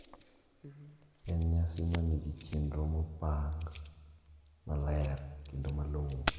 En nyasi manigi chenro mopang maler kendo malong`o.